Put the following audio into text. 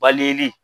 Balili